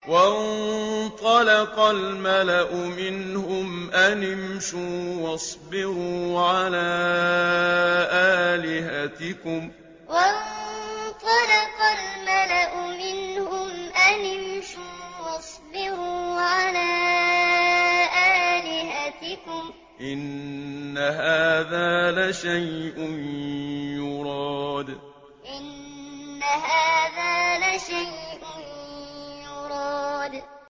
وَانطَلَقَ الْمَلَأُ مِنْهُمْ أَنِ امْشُوا وَاصْبِرُوا عَلَىٰ آلِهَتِكُمْ ۖ إِنَّ هَٰذَا لَشَيْءٌ يُرَادُ وَانطَلَقَ الْمَلَأُ مِنْهُمْ أَنِ امْشُوا وَاصْبِرُوا عَلَىٰ آلِهَتِكُمْ ۖ إِنَّ هَٰذَا لَشَيْءٌ يُرَادُ